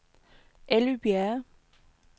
Elly Bjerre